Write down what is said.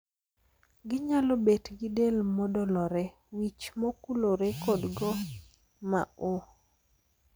Ginyalo bet gi del modolore, wich mokulore kod gok ma oo.